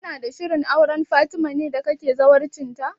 Kana da shirin auren Fatima ne da kake zawarcin ta?